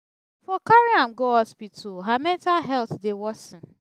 you for carry am go hospital her mental health dey worsen